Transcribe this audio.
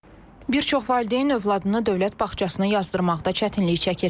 Bir çox valideyn övladını dövlət bağçasına yazdırmaqda çətinlik çəkir.